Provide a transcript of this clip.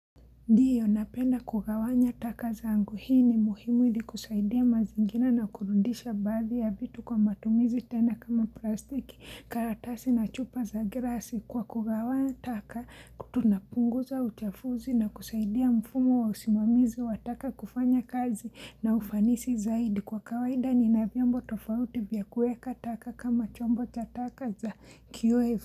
Ndio napenda kugawanya taka zangu. Hii ni muhimu ili kusaidia mazingira na kurudisha baadhi ya vitu kwa matumizi tena kama plastiki, karatasi na chupa za glasi. Kwa kugawanya taka, tunapunguza uchafuzi na kusaidia mfumo wa usimamizi wa taka kufanya kazi na ufanisi zaidi. Kwa kawaida ni na vyombo tofauti vya kuweka taka kama chombo cha taka za QF.